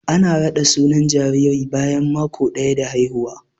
Ana raɗi sunan jariri bayan mako daya da haihuwa.